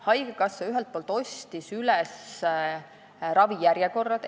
" Haigekassa tõesti ostis üles ravijärjekorrad.